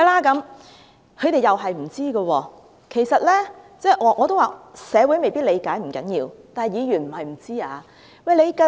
"他們又不知道，其實，我說過社會未必理解，不要緊，但議員不能不知道。